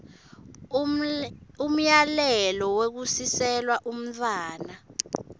umyalelo wekusiselwa umntfwana